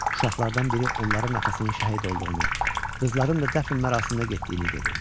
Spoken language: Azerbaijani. Uşaqlardan biri onların atasının şəhid olduğunu, qızların da dəfn mərasiminə getdiyini dedi.